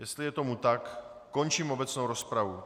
Jestli je tomu tak, končím obecnou rozpravu.